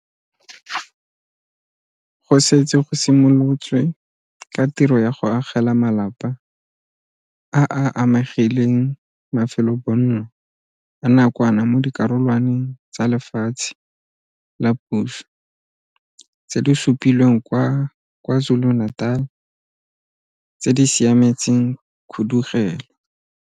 Go setse go simolotswe ka tiro ya go agela malapa a a amegileng mafelobonno a nakwana mo dikarolwaneng tsa lefatshe la puso tse di supilweng kwa KwaZulu-Natal tse di siametseng khudugelo.